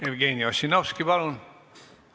Jevgeni Ossinovski, palun!